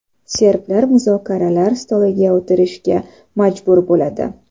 Serblar muzokaralar stoliga o‘tirishga majbur bo‘ladi.